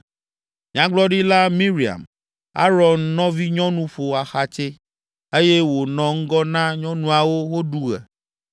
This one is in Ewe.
Nyagblɔɖila Miriam, Aron nɔvinyɔnu ƒo axatsɛ, eye wònɔ ŋgɔ na nyɔnuawo woɖu ɣe.